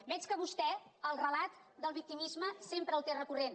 veig que vostè el relat del victimisme sempre el té recurrent